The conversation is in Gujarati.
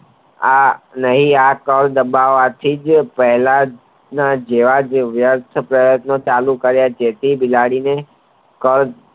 આ કલ દબાવાથી જે પહેલા જ ના જેવાજ પ્રયત્નો ચાલુ કર્યા જેથી બિલાડીને કલ